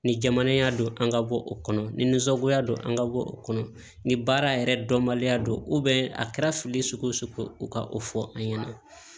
Ni jamana don an ka bɔ o kɔnɔ ni nunsagoya don an ka bɔ o kɔnɔ ni baara yɛrɛ dɔnbaliya don a kɛra fili sugu o sugu u ka o fɔ an ɲɛna